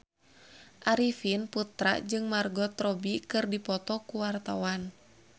Arifin Putra jeung Margot Robbie keur dipoto ku wartawan